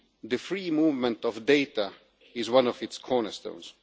The free movement of data is one of its cornerstones.